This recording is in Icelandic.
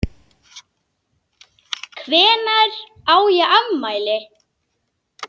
Hvenær á ég afmæli?